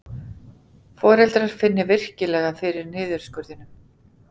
Foreldrar finni virkilega fyrir niðurskurðinum